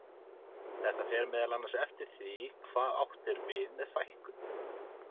Þetta fer meðal annars eftir því hvað átt er við með fækkun.